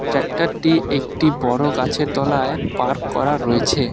ট্রাক্টরটি একটি বড় গাছের তলায় পার্ক করা রয়েছে।